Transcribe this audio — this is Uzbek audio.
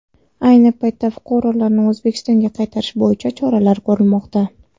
Ayni paytda fuqarolarni O‘zbekistonga qaytarish bo‘yicha choralar ko‘rilmoqda.